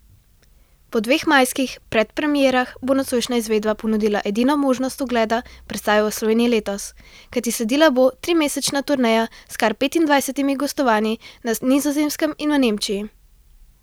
Po dveh majskih predpremierah bo nocojšnja izvedba ponudila edino možnost ogleda predstave v Sloveniji letos, kajti sledila bo trimesečna turneja s kar petindvajsetimi gostovanji na Nizozemskem in v Nemčiji.